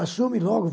Assume logo.